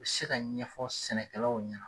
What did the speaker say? U se ka ɲɛfɔ sɛnɛkɛlaw ɲɛna.